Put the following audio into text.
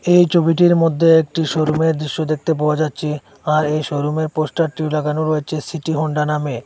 এই ছবিটির মধ্যে একটি শোরুমের দৃশ্য দেখতে পাওয়া যাচ্ছে আর এই শোরুমের পোস্টারটি লাগানো রয়েছে সিটি হোন্ডা নামে।